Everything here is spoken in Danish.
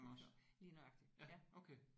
Lige nøjagtigt. Ja